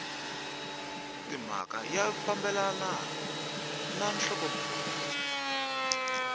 timhaka ya fambelana na nhlokomhaka